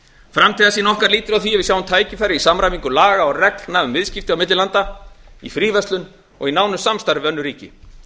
framtíðarsýn okkar lýtur að því að við sjáum tækifæri í samræmingu laga og reglna um viðskipti milli landa í fríverslun og í nánu samstarfi við önnur ríki